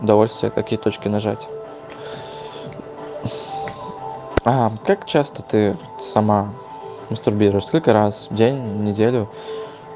удовольствие какие точки нажать а как часто ты сама мастурбируешь сколько раз в день неделю